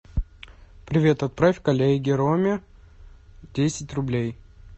привет отправь коллеге роме десять рублей